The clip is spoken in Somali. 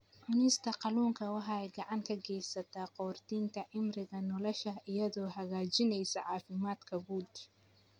Cunista kalluunka waxay gacan ka geysataa kordhinta cimriga nolosha iyadoo hagaajinaysa caafimaadka guud.